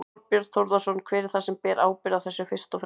Þorbjörn Þórðarson: Hver er það sem ber ábyrgð á þessu fyrst og fremst?